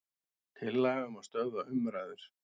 Tillaga um að stöðva umræður.